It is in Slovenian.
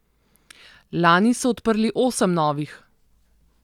Lani so odprli osem novih.